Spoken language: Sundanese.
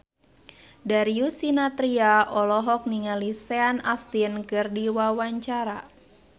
Darius Sinathrya olohok ningali Sean Astin keur diwawancara